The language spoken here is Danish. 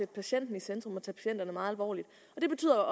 patienten i centrum og tage patienterne meget alvorligt det betyder